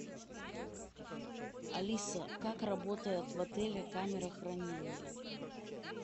алиса как работает в отеле камера хранения